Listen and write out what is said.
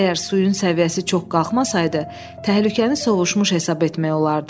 Əgər suyun səviyyəsi çox qalxmasaydı, təhlükəni sovuşmuş hesab etmək olardı.